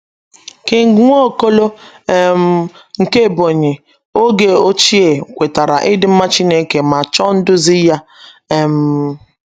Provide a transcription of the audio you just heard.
King Nwaokolo um nke Ebonyi oge ochie kwetara ịdị mma Chineke ma chọọ nduzi Ya um.